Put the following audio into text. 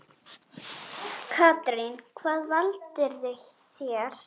Katrín: Hvað valdirðu þér?